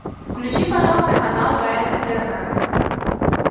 включи пожалуйста канал рен тв